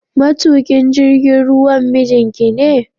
matukin jigin ruwan mijinkine?